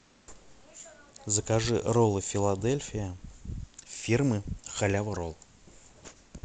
закажи роллы филадельфия фирмы халява ролл